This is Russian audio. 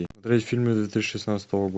смотреть фильмы две тысячи шестнадцатого года